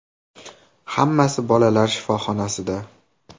Hammasi bolalar shifoxonasida.